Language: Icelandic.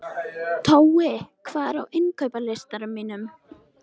Tói, hvað er á innkaupalistanum mínum?